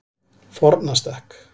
Fornastekk